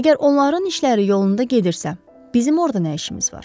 Əgər onların işləri yolunda gedirsə, bizim orda nə işimiz var?